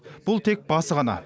бұл тек басы ғана